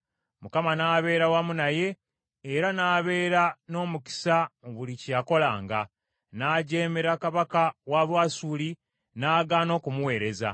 Mukama n’abeera wamu naye, era n’abeera n’omukisa mu buli kye yakolanga. N’agyemera kabaka w’e Bwasuli, n’agaana okumuweereza.